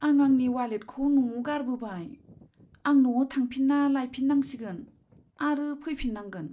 आं आंनि वालेटखौ न'आव गारबोबाय। आं न'आव थांफिन्ना लाइफिननांसिगोन आरो फैफिन्नांगोन।